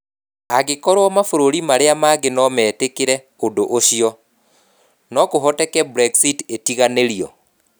Angĩkorũo mabũrũri marĩa mangĩ no metĩkĩre ũndũ ũcio, no kũhoteke Brexit ĩtiganĩrio.